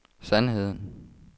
sandheden